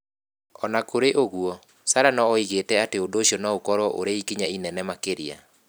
O na kũrĩ ũguo, Sarah nĩ oigĩte atĩ ũndũ ũcio no ũkorũo ũrĩ ikinya inene makĩria.